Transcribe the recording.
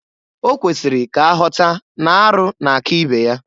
Okwesiri ka aghọta n'arụ na-aka ibe ya.